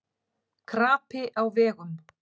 Krapi á vegum